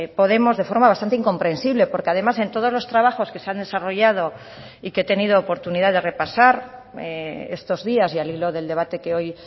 podemos de forma bastante incomprensible porque además en todos los trabajos que se han desarrollado y que he tenido oportunidad de repasar estos días y al hilo del debate que hoy